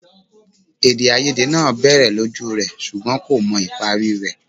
Èdèàìyedè náà bẹ́ẹ̀ lójú rẹ̀ ṣùgbọ́n kò mọ ìparí rẹ̀